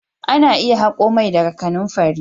Ana iya hako mai daga kananfari.